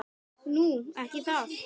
Nú. ekki það?